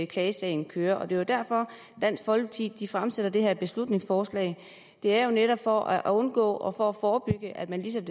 klagesagen kører det er jo derfor dansk folkeparti fremsætter det her beslutningsforslag det er jo netop for at undgå og for at forebygge at man ligesom